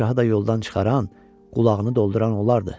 Padşahı da yoldan çıxaran, qulağını dolduran onlardır.